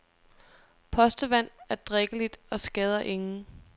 Postevand er drikkeligt og skader ingen.